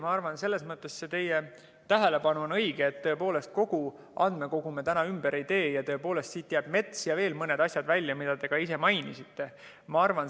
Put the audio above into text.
Ma arvan, selles mõttes see teie tähelepanek on õige, et tõepoolest kogu andmekogu me ümber ei tee, siit jäävad mets ja veel mõned asjad välja, mida te ka mainisite.